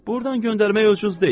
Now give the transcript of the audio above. Burdan göndərmək ucuz deyil.